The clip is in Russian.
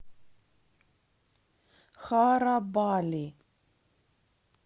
харабали